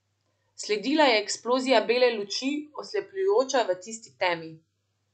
Sledila je eksplozija bele luči, oslepljujoča v tisti temi.